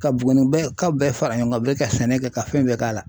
Ka Buguni bɛɛ ka bɛɛ fara ɲɔɔn kan bilen ka sɛnɛ kɛ ka fɛn bɛɛ k'a la.